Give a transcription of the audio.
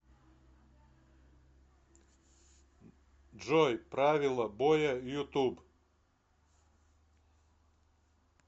джой правило боя ютуб